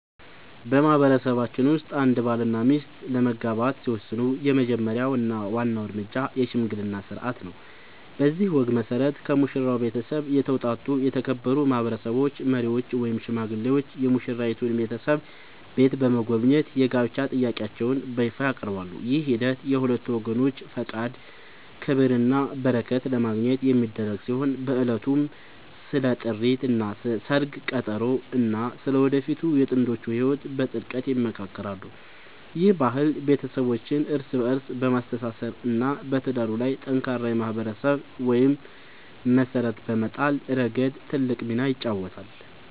በማህበረሰባችን ውስጥ አንድ ባልና ሚስት ለመጋባት ሲወስኑ የመጀመሪያው እና ዋናው እርምጃ **የሽምግልና ሥርዓት** ነው። በዚህ ወግ መሠረት፣ ከሙሽራው ቤተሰብ የተውጣጡ የተከበሩ ማህበረሰብ መሪዎች ወይም ሽማግሌዎች የሙሽራይቱን ቤተሰብ ቤት በመጎብኘት የጋብቻ ጥያቄያቸውን በይፋ ያቀርባሉ። ይህ ሂደት የሁለቱን ወገኖች ፈቃድ፣ ክብርና በረከት ለማግኘት የሚደረግ ሲሆን፣ በዕለቱም ስለ ጥሪት፣ ስለ ሰርግ ቀጠሮ እና ስለ ወደፊቱ የጥንዶቹ ህይወት በጥልቀት ይመካከራሉ። ይህ ባህል ቤተሰቦችን እርስ በእርስ በማስተሳሰር እና በትዳሩ ላይ ጠንካራ የማህበረሰብ መሰረት በመጣል ረገድ ትልቅ ሚና ይጫወታል።